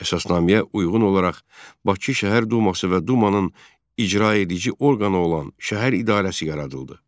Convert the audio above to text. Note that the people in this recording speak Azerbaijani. Əsasnaməyə uyğun olaraq Bakı Şəhər Duması və dumanın icraedici orqanı olan şəhər idarəsi yaradıldı.